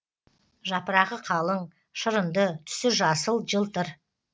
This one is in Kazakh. жапырағы калың шырынды түсі жасыл жылтыр